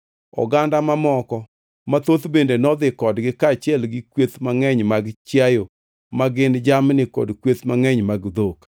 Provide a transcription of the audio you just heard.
Oganda mamoko mathoth bende nodhi kodgi kaachiel gi kweth mangʼeny mag chiayo ma gin jamni kod kweth mangʼeny mag dhok.